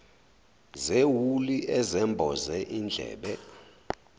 zewuli ezemboza izindlebe